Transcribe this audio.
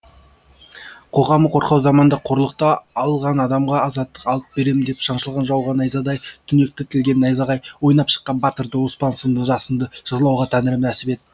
қоғамы қорқау заманда қорлықта алған адамға азаттық алып берем деп шаншылған жауға найзадай түнекті тілген найзағай ойнап шыққан батырды оспан сынды жасынды жырлауға тәңірім нәсіп ет